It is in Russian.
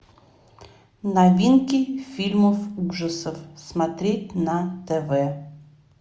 новинки фильмов ужасов смотреть на тв